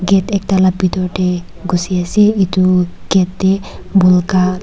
jatte ekta laga bethor te guse ase etu gate te bolke--